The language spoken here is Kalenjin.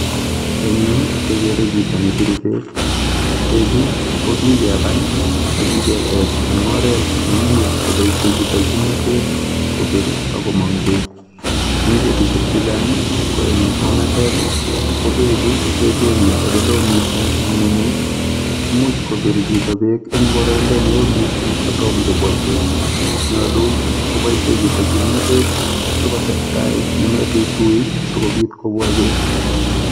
Eng yu kekere chito ne biru beek beechu ko kikebal ak kiketech eng oret ne imuchi koboishe chito kimnatet kobir ak komong beek. Eng betusiek che chang eng ongatet kobeechu kechenge eng ole loo missing eng ngunyut. Imuch kobir chito eng boroindo ne oo missing kotom kobwa beek nyolu koboishe chito kimnatet ak kotes tai nemetuitui sikobit kobwa beek.